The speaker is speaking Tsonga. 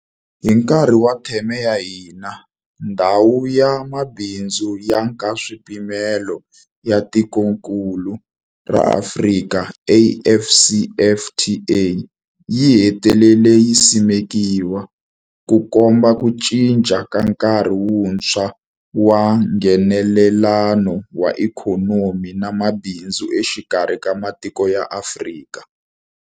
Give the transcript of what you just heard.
Hi nkarhi wa theme ya hina, Ndhawu ya Mabindzu ya Nkaswipimelo ya Tikokulu ra Afrika, AfCFTA, yi hetelele yi simekiwile, Ku komba ku cinca ka nkarhi wuntshwa wa Nghenelelano wa ikhonomi na mabindzu exikarhi ka matiko ya Afrika.